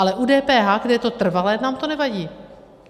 Ale u DPH, kde je to trvalé, nám to nevadí?